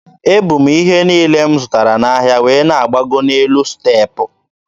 E bu m ihe niile m zụtara n'ahịa wee na-agbago n'elu step.